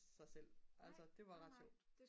sig selv altså det var ret sjovt